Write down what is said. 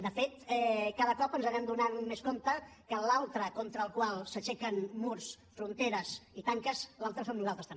de fet cada cop ens adonem més que l’altre contra el qual s’aixequen murs fronteres i tanques l’altre som nosaltres també